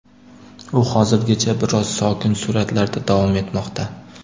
U hozirgacha biroz sokin sur’atlarda davom etmoqda.